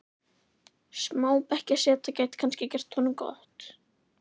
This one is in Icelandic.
Smá bekkjarseta gæti kannski gert honum gott?